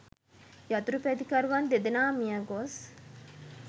යතුරුපැදිකරුවන් දෙදෙනා මියගොස්